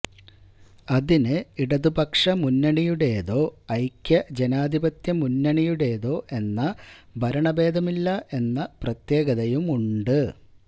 അതിന് ഇടതുപക്ഷ മുന്നണിയുടേതോ ഐക്യ ജനാധിപത്യ മുന്നണിയുടേതോ എന്ന ഭരണ ഭേദമില്ല എന്ന പ്രത്യേകതയുമണ്ട്